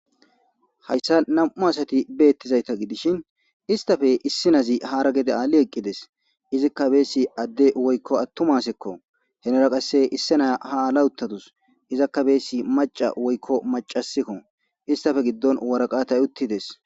hayssa nam7u asati beettizayta gidishin istafe issinazi hara gede aali eqqides izikka beessi adde woykko attumasekko henara qasse issi naya ha lawuttatus izakkabeesi maca woykko macasikko istafe giddon waraqatay uttides